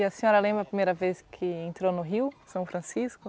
E a senhora lembra a primeira vez que entrou no Rio, São Francisco?